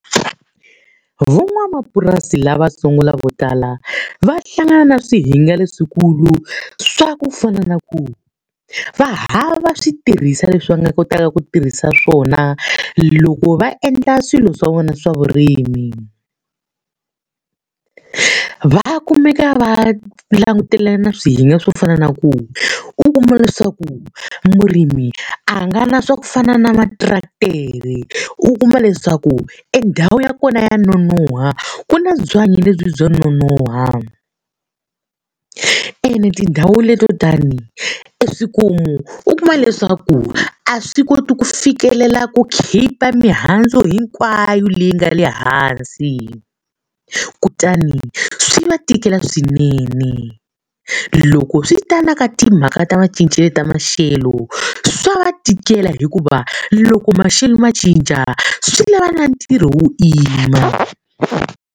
Van'wamapurasi lavatsongo vo tala va hlangana na swihinga leswikulu swa ku fana na ku, va hatla va swi tirhisiwa leswi va nga kotaka ku tirhisa swona loko va endla swilo swa vona swa vurimi. Va kumeka va langutela na swihinga swo fana na ku u kuma leswaku, murimi a nga na swa ku fana na materetere, u kuma leswaku e ndhawu ya kona nonoha, ku na byanyi lebyi bya ku nonoha. Ene tindhawu leto tani e swikomu, u kuma leswaku a swi koti ku fikelela ku khipha mihandzu hinkwayo leyi nga le hansi. Kutani swi va tikela swinene. Loko swi ta na ka timhaka ta macincelo ya maxelo swa va tikela hikuva loko maxelo ma cinca, swi lava na ntirho wo yima